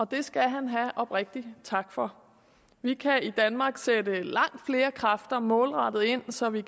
det skal han have oprigtigt tak for vi kan i danmark sætte langt flere kræfter målrettet ind så vi